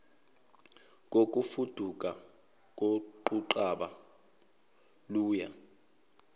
kokufuduka koquqaba luya